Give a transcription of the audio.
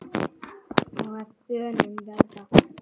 og að bönum verða